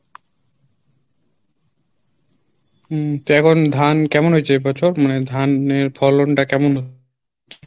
উম তো এখন ধান কেমন হয়েছে এ বছর মানে ধান এর ফলন টা কেমন